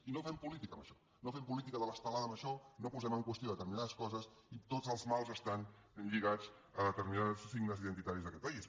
i no fem política amb això no fem política de l’estelada amb això no posem en qüestió determinades coses i que tots els mals estan lligats a determinats signes identitaris d’aquest país